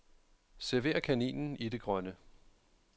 Server kaninen i det grønne.